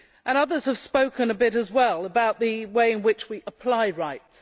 Others have spoken a bit as well about the way in which we apply rights.